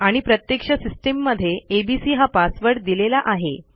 आणि प्रत्यक्ष सिस्टिममध्ये एबीसी हा पासवर्ड दिलेला आहे